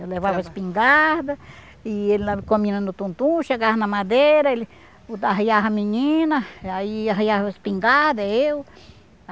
Eu levava espingarda, e ele leva com a menina no tumtum, chegava na madeira, ele botava arriava a menina, aí arriava a espingarda, eu.